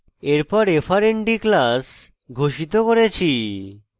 এরপর frnd class ঘোষিত করেছি